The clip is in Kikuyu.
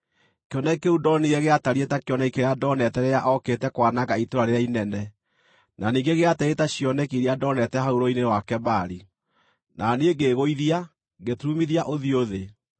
Kĩoneki kĩu ndonire gĩatariĩ ta kĩoneki kĩrĩa ndoonete rĩrĩa ookĩte kwananga itũũra rĩrĩa inene, na ningĩ gĩatariĩ ta cioneki iria ndoonete hau Rũũĩ-inĩ rwa Kebari; na niĩ ngĩĩgũithia, ngĩturumithia ũthiũ thĩ.